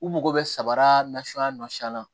U mago bɛ samara nasuguya nasiya la